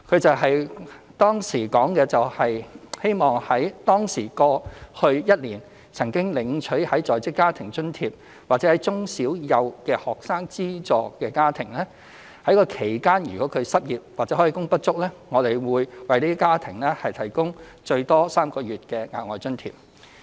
政府當時說，希望在當時計的過去一年，對於那些曾經領取在職家庭津貼的住戶或中小幼的學生資助家庭，其間如果失業或開工不足，我們會為這些家庭提供最多3個月的額外津貼。